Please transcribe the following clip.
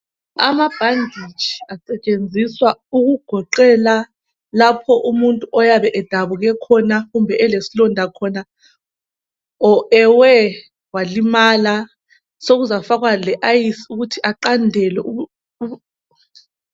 Amabhanditshi asetshenziswa ukugoqela lapho umuntu oyabe edabuke khona kumbe elesilonda khona or ewe walimala sokuzafakwa le ayisi ukuthi aqandelwe